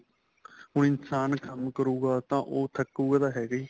ਹੁਣ ਇਨਸ਼ਾਨ ਕੰਮ ਕਰੂਗਾ ਤਾਂ ਉਹ ਥੱਕੂਗਾ ਤਾਂ ਹੈਗਾ ਹੀ